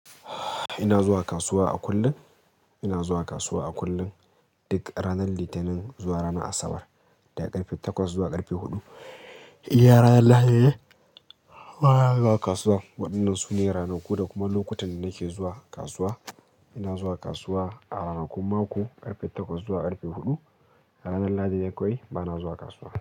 Ina zuwa kasuwa a kullum. Ina zuwa kasuwa a kullum duk ranar Litinin zuwa ranar Asabar, daga karfe takwas zuwa karfe hudu. Iya Raya Allah, eh. Bana zuwa kasuwa. Waɗannan su ne ranaku da kuma lokutan da nake zuwa kasuwa. Ina zuwa kasuwa a ranakun mako, ƙarfe takwas zuwa ƙarfe huɗu. Ranan lahadi ne kawai bana zuwa kasuwa.